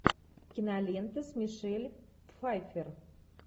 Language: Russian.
кинолента с мишель пфайффер